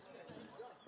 Azərbaycanda hərbi.